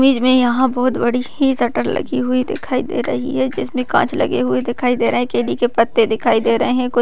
Image में यहाँ बहूत बड़ी शटर लगी हुई दिखाई दे रही है जिसमें कांच लगे दिखाई दे रहे हैं केले के पत्ते दिखाई दे रहे हैं।